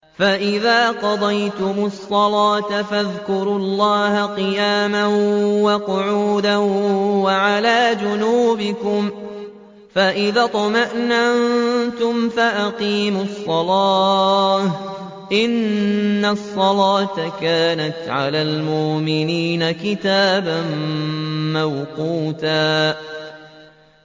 فَإِذَا قَضَيْتُمُ الصَّلَاةَ فَاذْكُرُوا اللَّهَ قِيَامًا وَقُعُودًا وَعَلَىٰ جُنُوبِكُمْ ۚ فَإِذَا اطْمَأْنَنتُمْ فَأَقِيمُوا الصَّلَاةَ ۚ إِنَّ الصَّلَاةَ كَانَتْ عَلَى الْمُؤْمِنِينَ كِتَابًا مَّوْقُوتًا